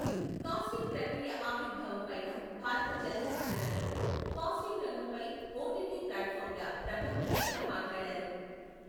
Casting ప్రక్రియ ఆవిర్భౄవంపైనా, భారత చలనచిత్ర రంగంలో కాస్టింగ్ రంగంపై ఒటిటి ప్లాట్ ఫాంల ప్రభావంపైన మాట్లాడారు.